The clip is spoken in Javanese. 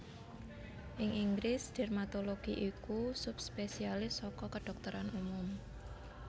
Ing Inggris dermatologi iku subspesialis saka kedhokteran umum